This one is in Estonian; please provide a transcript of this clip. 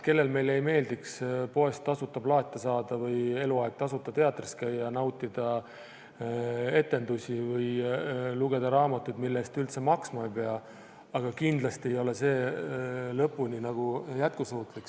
Kellele meile ei meeldiks poest tasuta plaate saada või eluaeg tasuta teatris käia, nautida etendusi või lugeda raamatuid, mille eest üldse maksma ei pea, aga kindlasti ei ole see lõpuni jätkusuutlik.